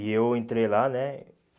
E eu entrei lá, né?